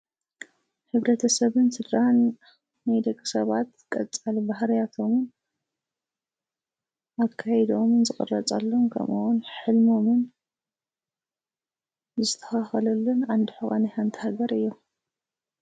ሕብረተሰብን ስድራን ናይ ደቂ ሰባት ቀጻሊ ባህርያቶም ኣካይደኦምን ዝቕረጸሉ ከምኡ ውን ሕልሞምን ዝስተኻኸለሉ ዓንዲ ሑቐ ናይ ሓንቲ ሃገር እዮም።